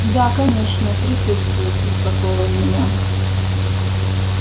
да конечно присутствуют успокоил он меня